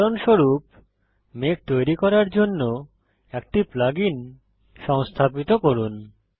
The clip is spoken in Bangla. উদাহরণস্বরূপ মেঘ তৈরী করার জন্য একটি প্লাগ ইন সংস্থাপিত করুন